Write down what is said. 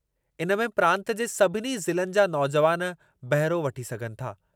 इन में प्रांतु जे सभिनी ज़िलनि जा नौजुवान बहिरो वठी सघनि था।